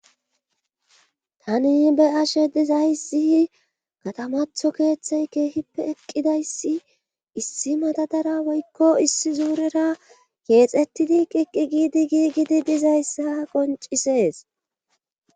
Tani be ashe dizayssi katamatho keeththey keehippe eqqidayssi issi madadara woykko issi zuurera keexettidi qiqqi giidi gii gidi dizayssa qoncisees